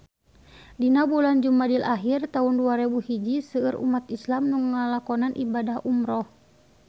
Dina bulan Jumadil ahir taun dua rebu hiji seueur umat islam nu ngalakonan ibadah umrah